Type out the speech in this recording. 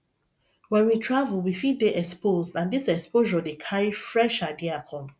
when we travel we fit dey exposed and this exposure dey carry fresh idea come